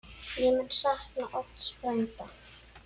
Ég mun sakna Odds frænda.